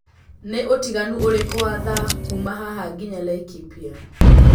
ni utiganu ũrĩkũ wa thaa kũũma haha nginya. laikipia